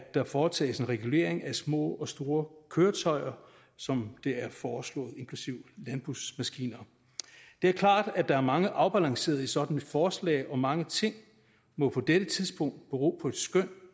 der foretages en regulering af små og store køretøjer som det er foreslået inklusive landbrugsmaskiner det er klart at der er mange afbalanceringer i sådan et forslag og mange ting må på dette tidspunkt bero på et skøn